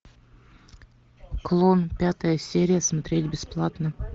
клон пятая серия смотреть бесплатно